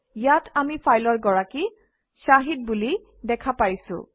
ইয়াত আমি ফাইলৰ গৰাকী শাহিদ বুলি দেখা পাইছোঁ